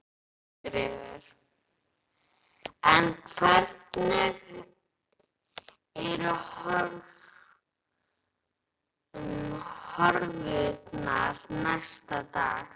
Sigríður: En hvernig eru horfurnar næstu daga?